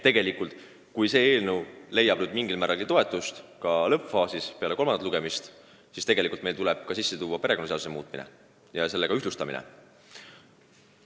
Seega, kui meie eelnõu leiab toetust ka lõppfaasis, peale kolmandat lugemist, siis tuleb meil muuta ka perekonnaseadust, et regulatsioone ühtlustada.